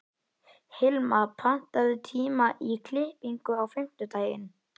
Hilma, pantaðu tíma í klippingu á fimmtudaginn.